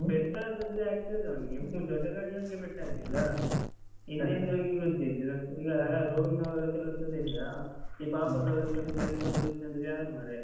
ಪೆಟ್ಟಾದದ್ದು Activa ದವನಿಗೆ ಇವ ದೊಡ್ಡ ಗಾಡಿಯವನಿಗೆ ಪೆಟ್ಟಾಗ್ಲಿಲ್ಲ. ಹಿಂದೆ ಇಂದ ಹೋಗಿ ಗುದ್ದಿದ್ದು. ಈಗ roadವರ ಕೆಲ್ಸದಿಂದ. ಈ ಪಾಪದವ್ರಿಗೆಲ್ಲ ಕೈ ಕಾಲ್ ಹೊಯ್ತನ್ದ್ರೆ ಯಾರ್ ಮಾರಯಾ.